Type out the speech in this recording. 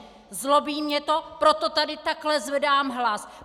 Zlobí mě to, proto tady takto zvedám hlas.